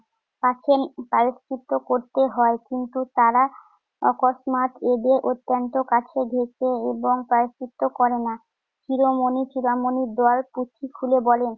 এখন প্রায়শ্চিত্ত করতে হয়, কিন্তু তারা অকস্মাৎ এদের অত্যন্ত কাছে ঘেঁষে এবং প্রায়শ্চিত্ত করে না। শিরোমনি চূড়ামনি দয়ার পুঁটলি খুলে বলেন